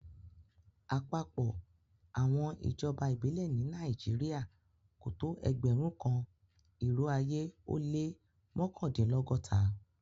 Àpapọ̀ àwọn ijọba ibilẹ̀ ni Naijiria kò tó ẹgbẹ̀rún kan, irò ayé o lẹ́ mọkandinlọgọ́ta.